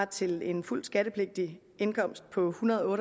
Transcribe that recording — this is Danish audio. til en fuldt skattepligtig indkomst på ethundrede og